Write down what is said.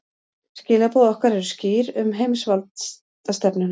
Skilaboð okkar eru skýr um heimsvaldastefnuna